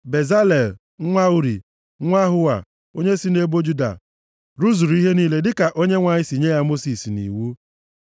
Bezalel, nwa Uri, nwa Hua, onye si nʼebo Juda, rụzuru ihe niile dịka Onyenwe anyị si nye ya Mosis nʼiwu.